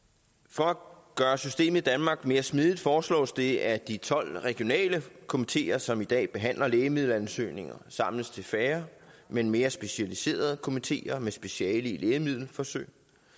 for at gøre systemet i danmark mere smidigt foreslås det at de tolv regionale komiteer som i dag behandler lægemiddelansøgninger samles til færre men mere specialiserede komiteer med speciale i lægemiddelforsøg